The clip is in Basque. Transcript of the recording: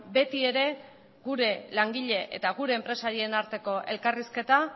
beti ere gure langile eta gure enpresarien arteko elkarrizketa